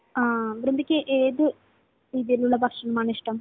ആ. വൃന്ദയ്ക്ക് ഏതു രീതിയിലുള്ള ഭക്ഷണമാണിഷ്ടം?